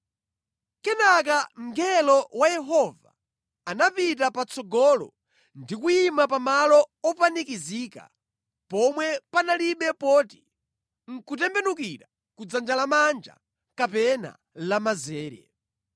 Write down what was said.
Kenaka mngelo wa Yehova anapita patsogolo ndi kuyima pamalo opanikizika pomwe panalibe poti nʼkutembenukira ku dzanja lamanja kapena lamanzere.